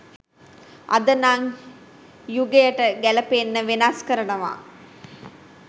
අද නං යුගයට ගැලපෙන්න වෙනස් කරනව